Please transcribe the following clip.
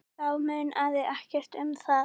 Þá munaði ekkert um það.